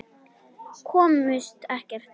Komust ekkert.